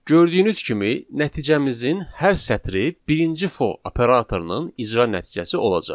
Gördüyünüz kimi nəticəmizin hər sətri birinci for operatorunun icra nəticəsi olacaq.